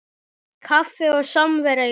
Kaffi og samvera í lokin.